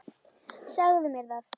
Segðu mér það.